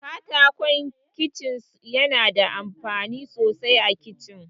Katakon Kicin yana da amfani sosai a Kicin.